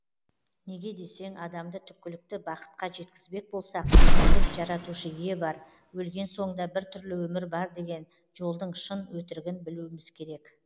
неге десең адамды түпкілікті бақытқа жеткізбек болсақ біліп жаратушы ие бар өлген соң да бір түрлі өмір бар деген жолдың шын өтірігін білуіміз керек